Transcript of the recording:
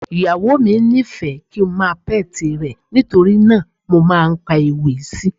Ìyàwó mi nífẹ̀ẹ́ kíi ń máa pẹ́ti rẹ̀, nítorí náà mo máa ń ka àwọn ewì sí i.